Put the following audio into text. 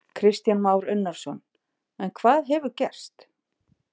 Kristján Már Unnarsson: En hvað hefur gerst?